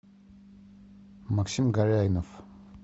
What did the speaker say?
максим горяйнов